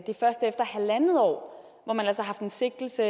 at først efter halvandet år hvor man altså har haft en sigtelse